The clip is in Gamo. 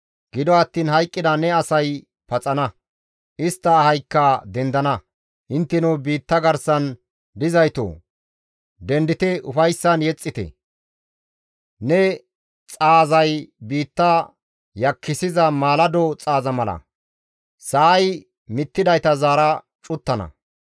Gido attiin hayqqida ne asay paxana; istta ahaykka dendana. Intteno biitta garsan dizaytoo! Dendite ufayssan yexxite; ne xaazay biitta yakkissiza maalado xaaza mala sa7ay mittidayta zaara cuttana.